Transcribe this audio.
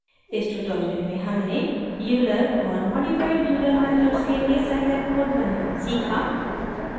इस ट्यूटोरियल में हमने euler और modified euler methods के लिए scilab कोड बनाना सीखा